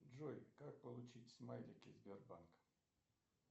джой как получить смайлики сбербанка